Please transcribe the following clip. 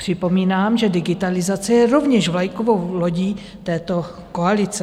Připomínám, že digitalizace je rovněž vlajkovou lodí této koalice.